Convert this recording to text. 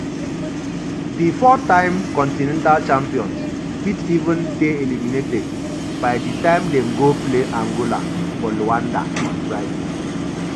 um di um four-time continental champions fit even dey eliminated by di time dem go play um angola for luanda on friday.